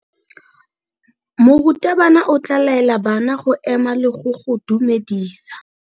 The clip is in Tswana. Morutabana o tla laela bana go ema le go go dumedisa.